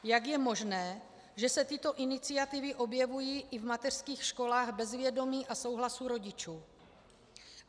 Jak je možné, že se tyto iniciativy objevují i v mateřských školách bez vědomí a souhlasu rodičů?